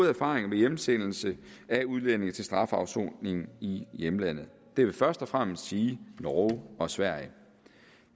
erfaringer med hjemsendelse af udlændinge til strafafsoning i hjemlandet det vil først og fremmest sige norge og sverige